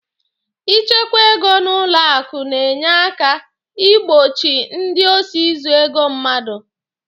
I chekwa ego n'ụlọ akụ na-enye aka ị gbochi ndị osi izu ego mmadụ.